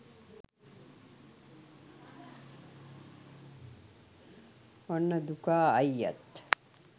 ඔන්න දුකා අයියත්